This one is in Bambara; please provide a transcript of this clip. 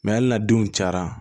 hali n'a denw cayara